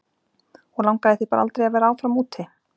Og langaði þig bara aldrei að vera áfram úti?